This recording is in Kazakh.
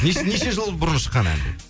неше жыл бұрын шыққан ән